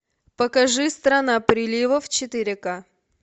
покажи страна приливов четыре ка